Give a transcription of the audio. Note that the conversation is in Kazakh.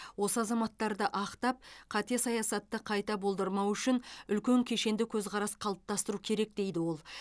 осы азаматтарды ақтап қате саясатты қайта болдырмау үшін үлкен кешенді көзқарас қалыптастыру керек дейді ол